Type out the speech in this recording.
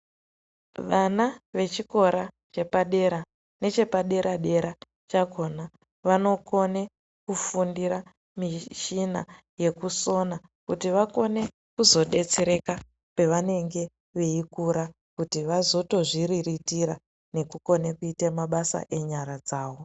Vana vechikora chepadera nechepadera dera chakhona Vanokone kufundira mishina yekusona kuti vakone kuzodetsereka pavanenge veikura kuti vazotozviriritira nekukone kuite mabasa enyara dzawo.